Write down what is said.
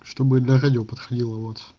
чтобы для радио подходила вот